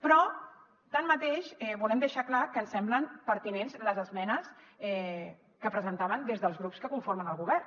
però tanmateix volem deixar clar que ens semblen pertinents les esmenes que presentaven des dels grups que conformen el govern